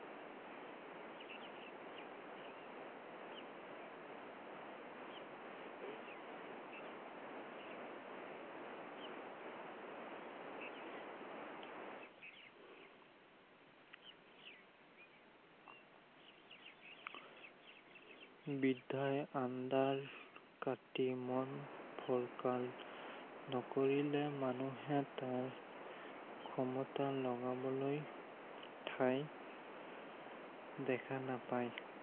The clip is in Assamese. বিদ্য়াই আন্ধাৰ কাটি মন ফৰকাল, নকৰিলে মানুহে তেওঁৰ, ক্ষমতা লগাবলৈ ঠাই দেখা নাপায়।